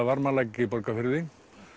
Varmalæk í Borgarfirði